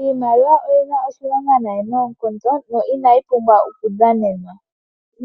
Iimaliwa oyina oshilonga nayi noonkondo no inayi pumbwa oku dhanenwa.